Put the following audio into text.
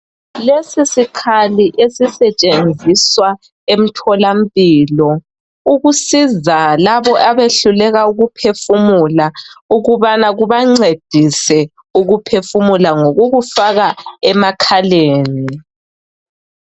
Lesi sikhalii esisetshenziswa emtholampilo ukusiza labo abehluleka ukuphefumula ukubana kubancedise ukuphefumula ngokukufaka emakhaleni .